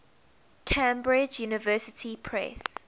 cambridge university press